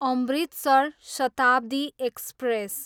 Amritsar Shatabdi express